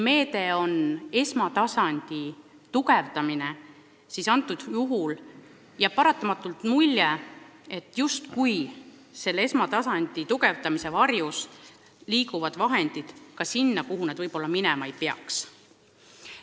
Meede on esmatasandi tugevdamine, aga paratamatult jääb mulje, et esmatasandi tugevdamise varjus liigub raha ka sinna, kuhu see võib-olla minema ei peaks.